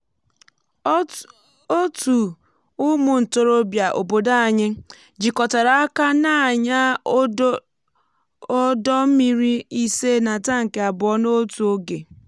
otú ụmụ ntorobịa obodo anyị jikọtara aka na-anya ọdọ mmiri ise na tankị abụọ n'otu oge.